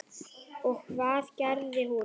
Og hvað gerði hún?